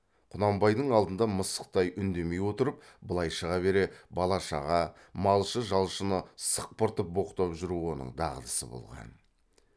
құнанбайдың алдында мысықтай үндемей отырып былай шыға бере бала шаға малшы жалшыны сықпыртып боқтап жүру оның дағдысы болған